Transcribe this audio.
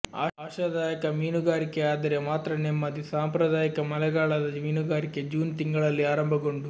ಆಶಾದಾಯಕ ಮೀನುಗಾರಿಕೆ ಆದರೆ ಮಾತ್ರ ನೆಮ್ಮದಿ ಸಾಂಪ್ರದಾಯಿಕ ಮಳೆಗಾಲದ ಮೀನುಗಾರಿಕೆ ಜೂನ್ ತಿಂಗಳಲ್ಲಿ ಆರಂಭಗೊಂಡು